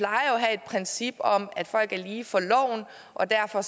princip om at folk er lige for loven og derfor